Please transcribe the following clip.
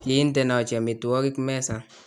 kiintenochi amitwogik mesa